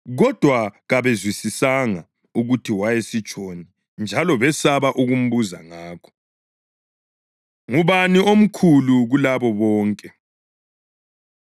Kodwa kabezwisisanga ukuthi wayesitshoni njalo besaba ukumbuza ngakho. Ngubani Omkhulu Kulabo Bonke?